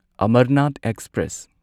Amarnath express